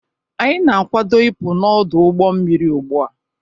Anyị na-akwado ịpụ n'ọdụ ụgbọ mmiri ugbu a.